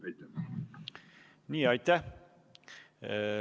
Aitäh!